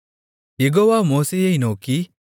யெகோவா மோசேயை நோக்கி